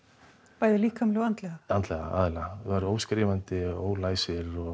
bæði líkamlega og andlega andlega aðallega væru óskrifandi ólæs